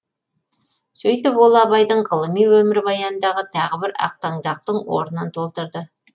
сөйтіп ол абайдың ғылыми өмірбаянындағы тағы бір ақтаңдақтың орынын толтырды